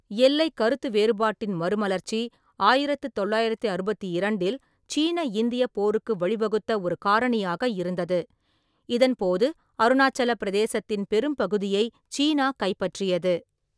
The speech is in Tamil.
எல்லை கருத்துவேறுபாட்டின் மறுமலர்ச்சி ஆயிரத்து தொள்ளாயிரத்து அறுபத்தி இரண்டில் சீன-இந்திய போருக்கு வழிவகுத்த ஒரு காரணியாக இருந்தது, இதன் போது அருணாச்சல பிரதேசத்தின் பெரும்பகுதியை சீனா கைப்பற்றியது.